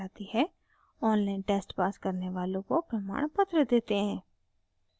online test pass करने वालों को प्रमाणपत्र देते हैं